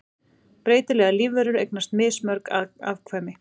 Breytilegar lífverur eignast mismörg afkvæmi.